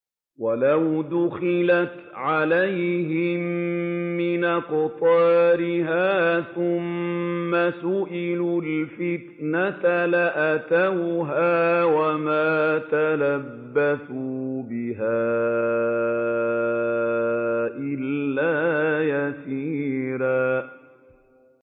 وَلَوْ دُخِلَتْ عَلَيْهِم مِّنْ أَقْطَارِهَا ثُمَّ سُئِلُوا الْفِتْنَةَ لَآتَوْهَا وَمَا تَلَبَّثُوا بِهَا إِلَّا يَسِيرًا